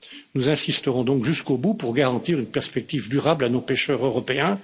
Nous insisterons donc jusqu'au bout pour garantir une perspective durable à nos pêcheurs européens.